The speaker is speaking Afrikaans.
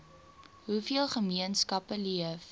hoeveel gemeenskappe leef